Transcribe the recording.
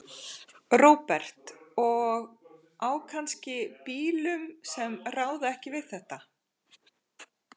Róbert: Og á kannski bílum sem ráða ekki við þetta?